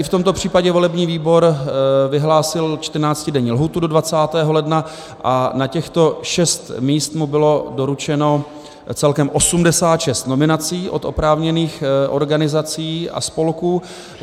I v tomto případě volební výbor vyhlásil 14denní lhůtu do 20. ledna a na těchto šest míst mu bylo doručeno celkem 86 nominací od oprávněných organizací a spolků.